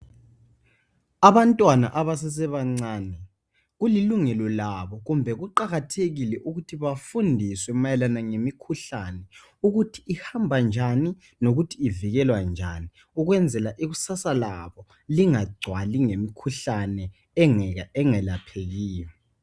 Abantwana abasesebancane kulilungelo labo kumbe kuqakathekile ukuthi bafundiswe mayelana ngemikhuhlane ukuthi ihamba njani lokuthi ivikelwa njani ukwenzela ikusasa labo lingagcwali ngemikhuhlane engelaphekiyo.